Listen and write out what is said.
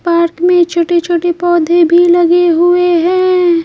Park में छोटे-छोटे पौधे भी लगे हुए हैं।